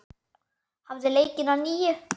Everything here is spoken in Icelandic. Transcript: Hafið leikinn að nýju.